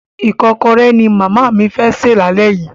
Ìkọ́kọrẹ́ ni màámi fẹ́ sè lálẹ́ yìí.